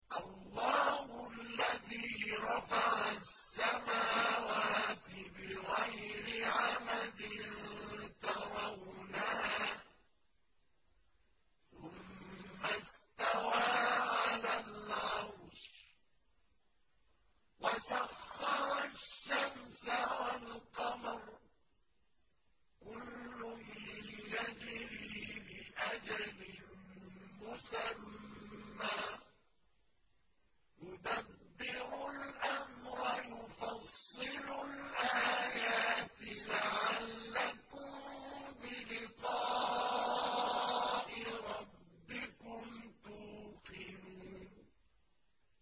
اللَّهُ الَّذِي رَفَعَ السَّمَاوَاتِ بِغَيْرِ عَمَدٍ تَرَوْنَهَا ۖ ثُمَّ اسْتَوَىٰ عَلَى الْعَرْشِ ۖ وَسَخَّرَ الشَّمْسَ وَالْقَمَرَ ۖ كُلٌّ يَجْرِي لِأَجَلٍ مُّسَمًّى ۚ يُدَبِّرُ الْأَمْرَ يُفَصِّلُ الْآيَاتِ لَعَلَّكُم بِلِقَاءِ رَبِّكُمْ تُوقِنُونَ